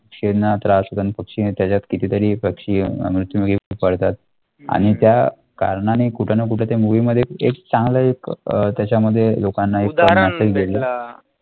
छेडणार त्रास होतो पक्षीने त्याच्यात कितीतरी पक्षी मृत्यूमुखी पडतात आणि त्या कारणाने कुठं ना कुठं ते movie मध्ये एक चांगलं एक अं त्याच्यामध्ये लोकांना एक